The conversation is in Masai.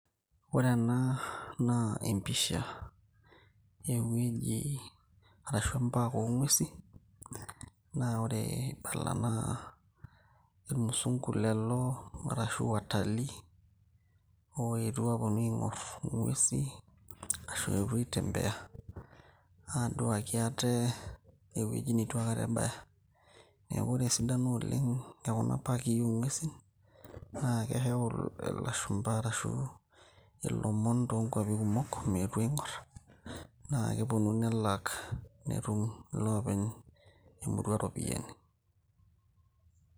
ore ena naa empisha ewueji arashu em park ong'uesi naa ore ibala naa irmusungu lelo arashu watali oetuo aponu aing'orr ing'uesi ashu eetuo aitembea aduaki ate ewueji netu aikata ebaya neku ore esidano oleng ekuna paki ong'uesin naa keyau ilashumpa arashu ilomon toonkuapi kumok meetu aing'orr naa keponu nelak netum ilopeny emurua iropiyiani.